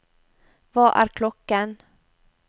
hva er klokken